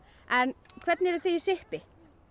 en hvernig eruð þið í sippi